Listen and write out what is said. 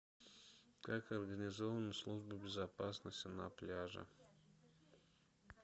как организована служба безопасности на пляже